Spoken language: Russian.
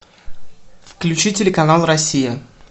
включи телеканал россия